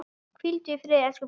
Hvíldu í friði, elsku pabbi.